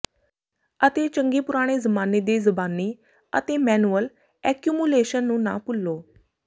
ਅਤੇ ਚੰਗੇ ਪੁਰਾਣੇ ਜ਼ਮਾਨੇ ਦੇ ਜ਼ਬਾਨੀ ਅਤੇ ਮੈਨੂਅਲ ਐਕਯੂਮੂਲੇਸ਼ਨ ਨੂੰ ਨਾ ਭੁੱਲੋ